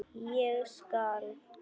Ég skal.